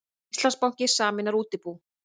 Íslandsbanki sameinar útibú